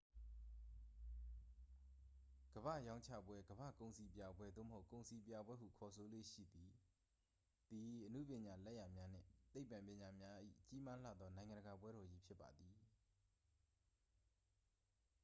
ကမ္ဘာ့ရောင်းချပွဲ ကမ္ဘာ့ကုန်စည်ပြပွဲ၊ သို့မဟုတ် ကုန်စည်ပြပွဲဟု ခေါ်ဆိုလေ့ရှိသည် သည် အနုပညာလက်ရာများနှင့် သိပ္ပံပညာများ၏ ကြီးမားလှသော နိုင်ငံတကာပွဲတော်ကြီးဖြစ်ပါသည်။